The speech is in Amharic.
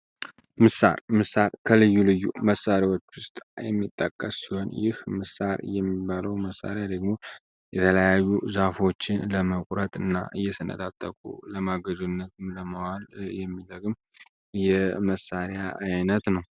ምሳር ምሳር ከልዩ ልዩ መሳሪያዎች ውስጥ የሚጣቀስ ሲሆን ይህ ምሳር የሚባለው መሣሪያ ደግሞ የተለያዩ ዛፎች ለመቁረት እና እየሰነጥዐጠቁ ለማገዶነት ለመዋል የሚደግም የመሳሪያ አይነት ነው።